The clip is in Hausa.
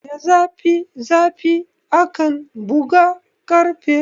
Da zafi zafi akan buga karfe